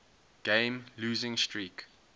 game losing streak